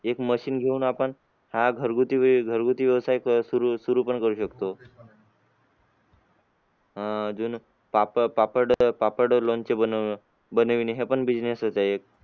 एक machine घेऊन आपण हा आह घरगुती घरगुती व्यवसाय सुरू सुरू पण करू शकतो. अह अजून पापड पापड पापड लोणचे बनव बनवणे हे पण business च आहे एक.